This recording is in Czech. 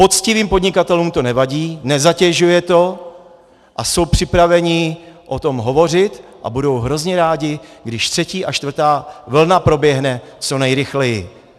Poctivým podnikatelům to nevadí, nezatěžuje to a jsou připraveni o tom hovořit a budou hrozně rádi, když třetí a čtvrtá vlna proběhne co nejrychleji.